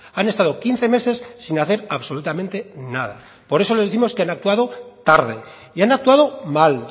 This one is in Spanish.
han estado quince meses sin hacer absolutamente nada por eso les décimos que han actuado tarde y han actuado mal